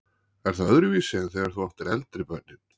Er það öðruvísi en þegar þú áttir eldri börnin?